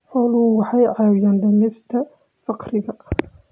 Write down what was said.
Xooluhu waxay caawiyaan dhimista faqriga.